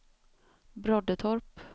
Broddetorp